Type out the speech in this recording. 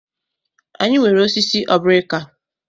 Anyị nwere osisi obrika.